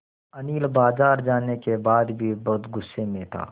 अनिल बाज़ार जाने के बाद भी बहुत गु़स्से में था